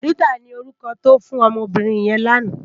Rita ni órúkò tò fún òmò óbìrín yèn làná